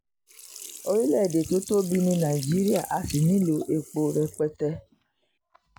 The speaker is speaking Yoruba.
orílẹ̀‐èdè tó tóbi ní nàìjíríà a sì nílò epo rẹpẹtẹ